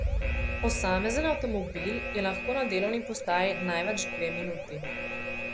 Posamezen avtomobil je lahko na delovni postaji največ dve minuti.